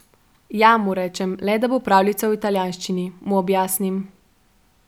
Ja, mu rečem, le da bo pravljica v italijanščini, mu objasnim.